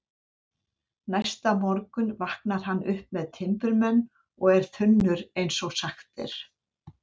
Næsta morgun vaknar hann upp með timburmenn og er þunnur eins og sagt er.